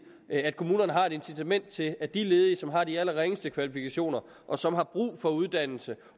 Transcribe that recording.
at kommunerne har et incitament til at de ledige som har de allerringeste kvalifikationer og som har brug for uddannelse